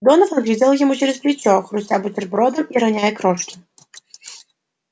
донован глядел ему через плечо хрустя бутербродом и роняя крошки